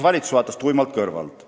Valitsus vaatas seda tuimalt kõrvalt.